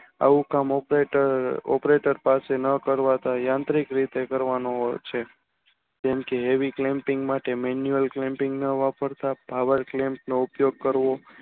આવું કામ operator પાસે ન કરવા યાંત્રિક રીતે કરવાનું હોય છે જેમકે havyclamping માટે માનુએલ clamping હોવા પડતા ભાવાર્થ લેન્સ નો ઉપયોગ કરવો